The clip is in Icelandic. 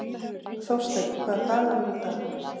Þórsteinn, hvaða dagur er í dag?